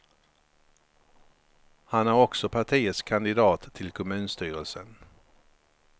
Han är också partiets kandidat till kommunstyrelsen.